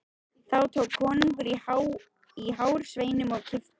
Þá tók konungur í hár sveininum og kippti.